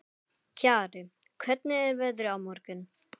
Kjarri, hvernig er veðrið á morgun?